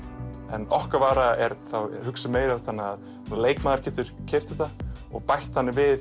en okkar vara er hugsuð meira þannig að leikmaður geti keypt þetta og bætt þannig við